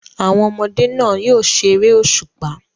Àwọn ọmọdé náà yóò ṣeré òṣùpá.